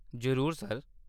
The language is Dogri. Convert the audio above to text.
जरूर सर।